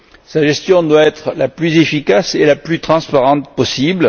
Sa gestion doit être la plus efficace et la plus transparente possible.